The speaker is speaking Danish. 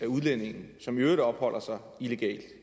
udlændinge som i øvrigt opholder sig illegalt